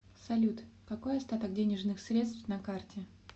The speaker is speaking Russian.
салют какой остаток денежных средств на карте